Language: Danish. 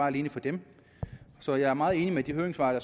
alene for dem så jeg er meget enig med de høringssvar